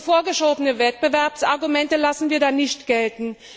Vorgeschobene Wettbewerbsargumente lassen wir nicht gelten.